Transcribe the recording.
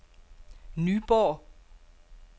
Nyborg